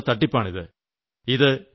പുതിയ രീതിയിലുളള തട്ടിപ്പാണ്